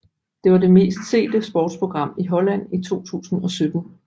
Det var det mest sete sportsprogram i Holland i 2017